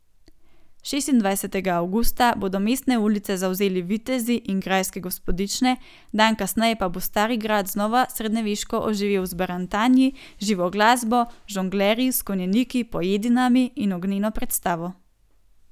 Šestindvajsetega avgusta bodo mestne ulice zavzeli vitezi in grajske gospodične, dan kasneje pa bo Stari grad znova srednjeveško oživel z barantanji, živo glasbo, žonglerji, s konjeniki, pojedinami in ognjeno predstavo.